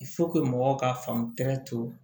mɔgɔw ka faamu